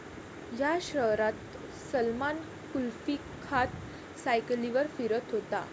या' शहरात सलमान कुल्फी खात सायकलीवर फिरत होता!